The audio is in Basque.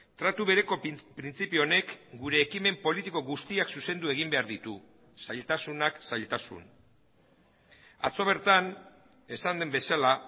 tratu bereko printzipio honek gure ekimen politiko guztiak zuzendu egin behar ditu zailtasunak zailtasun atzo bertan esan den bezala